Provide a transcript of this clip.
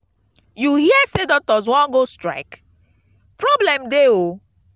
you hear say doctors wan go strike? problem dey oo